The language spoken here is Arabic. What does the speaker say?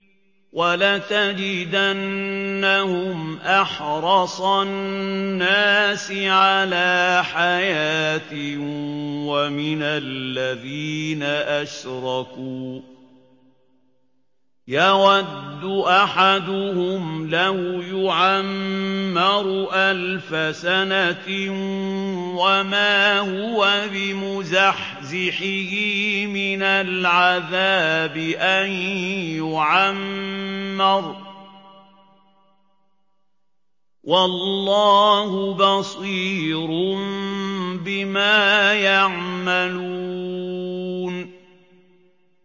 وَلَتَجِدَنَّهُمْ أَحْرَصَ النَّاسِ عَلَىٰ حَيَاةٍ وَمِنَ الَّذِينَ أَشْرَكُوا ۚ يَوَدُّ أَحَدُهُمْ لَوْ يُعَمَّرُ أَلْفَ سَنَةٍ وَمَا هُوَ بِمُزَحْزِحِهِ مِنَ الْعَذَابِ أَن يُعَمَّرَ ۗ وَاللَّهُ بَصِيرٌ بِمَا يَعْمَلُونَ